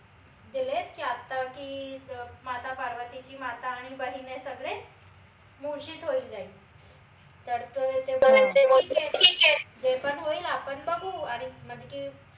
दिलेत की आता की अं माता पार्वतीची माता बहीन हे सगळे मूर्च्छित होऊन जाईल तर ते बोलले ठीक ए जे पन होईल आपन बघू आणि म्हनजे की